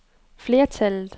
flertallet